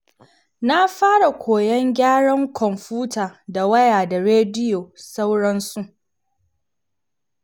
Na fara koyon gyaran kwomfuta da waya da rediyo sauransu.